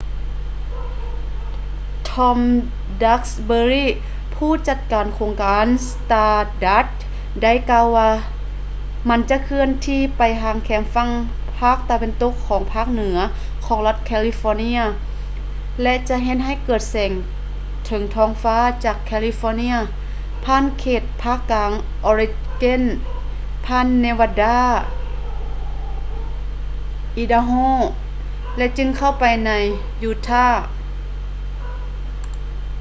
tom duxbury ຜູ້ຈັດການໂຄງການຂອງ stardust ໄດ້ກ່າວວ່າ ມັນຈະເຄື່ອນທີ່ໄປທາງແຄມຝັ່ງພາກຕາເວັນຕົກຂອງພາກເໜືອຂອງລັດ california ແລະ ຈະເຮັດໃຫ້ເກີດແສງເທິງທ້ອງຟ້າຈາກ california ຜ່ານເຂດພາກກາງ oregon ຜ່ານ nevada idaho ແລະ ຈຶ່ງເຂົ້າໄປໃນ utah